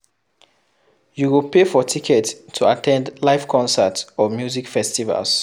You go pay for tickets to at ten d live concert or music festivals